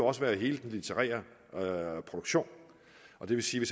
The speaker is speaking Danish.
også være hele den litterære produktion og det vil sige